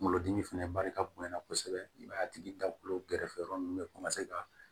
Kungolo dimi fɛnɛ barika bonya na kosɛbɛ i b'a ye a tigi da kulu gɛrɛfɛ yɔrɔ ninnu bɛ ka